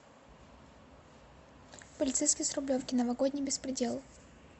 полицейский с рублевки новогодний беспредел